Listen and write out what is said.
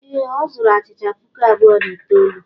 Ee, ọ zuru achịcha puku abụọ na itoolu.